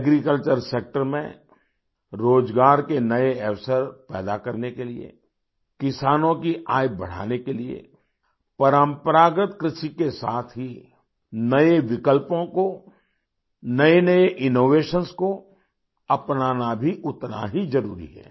Agriculture sector में रोजगार के नए अवसर पैदा करने के लिए किसानों की आय बढ़ाने के लिए परंपरागत कृषि के साथ ही नए विकल्पों को नएनए इनोवेशंस को अपनाना भी उतना ही जरूरी है